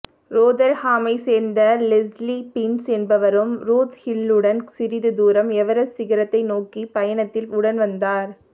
ரோதர்ஹாமை சேர்ந்த Leslie Binns என்பவரும் டூத்ஹில்லுடன் சிறிது தூரம் எவரெஸ்ட் சிகரத்தை நோக்கிய பயணத்தில் உடன் வந்தார்